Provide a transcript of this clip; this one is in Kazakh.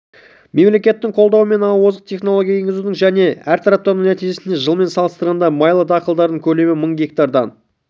мемлекеттің қолдауы мен озық технологияларды енгізудің және әртараптандырудың нәтижесінде жылмен салыстырғанда майлы дақылдардың көлемі мың гектардан